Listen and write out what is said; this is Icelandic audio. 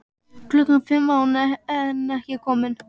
Klukkan fimm var hún enn ekki komin.